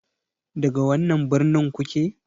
Daga wannan birnin kuke?